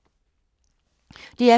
DR P2